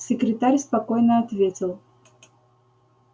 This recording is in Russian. секретарь спокойно ответил